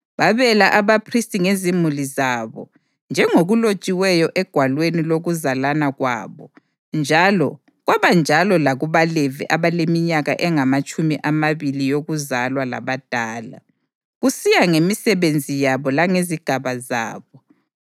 Babela abaphristi ngezimuli zabo njengokulotshiweyo egwalweni lokuzalana kwabo njalo kwabanjalo lakubaLevi abaleminyaka engamatshumi amabili yokuzalwa labadala, kusiya ngemisebenzi yabo langezigaba zabo.